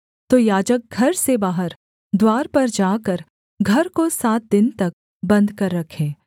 तो याजक घर से बाहर द्वार पर जाकर घर को सात दिन तक बन्द कर रखे